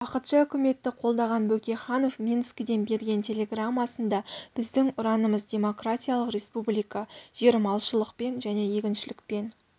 уақытша үкіметті қолдаған бөкейханов минскіден берген телеграммасында біздің ұранымыз демократиялық республика жер малшылықпен және егіншілікпен